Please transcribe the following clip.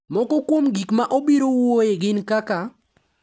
Moko kuom gik ma obirowuoye gin kaka: